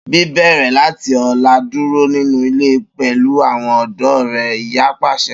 Bibẹrẹ lati ọla duro ninu ile pẹlu awọn ọdọ rẹ, iya paṣẹ.